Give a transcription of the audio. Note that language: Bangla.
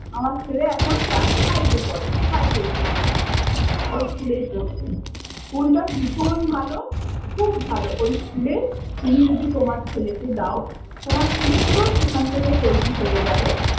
আমার ছেলে এখন class five এ পড়ে। Five এ উঠেছে। ওই school এই পড়ছে। School টা ভীষণ ভালো, খুব ভালো। ওই school এ তুমি যদি তোমার ছেলেকে দাও, তোমার ছেলে পুরো সেখান থেকে তৈরী হয়ে যাবে।